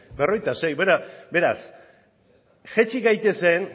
berrogeita sei beraz jaitsi gaitezen